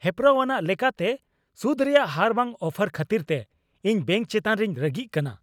ᱦᱮᱯᱨᱟᱣᱟᱱᱟᱜ ᱞᱮᱠᱟᱛᱮ ᱥᱩᱫᱷ ᱨᱮᱭᱟᱜ ᱦᱟᱨ ᱵᱟᱝ ᱚᱯᱷᱟᱨ ᱠᱷᱟᱹᱛᱤᱨ ᱛᱮ ᱤᱧ ᱵᱮᱹᱝᱠ ᱪᱮᱛᱟᱱ ᱨᱤᱧ ᱨᱟᱹᱜᱤᱜ ᱠᱟᱱᱟ ᱾